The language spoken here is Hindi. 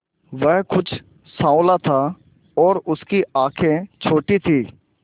वह कुछ साँवला था और उसकी आंखें छोटी थीं